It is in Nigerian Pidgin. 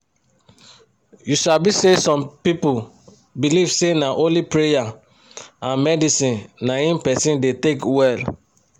u sabi say some people believe say na only praya and medicine naim persin da take welll